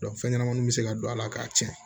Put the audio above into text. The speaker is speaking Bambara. fɛn ɲɛnamaninw bɛ se ka don a la k'a tiɲɛ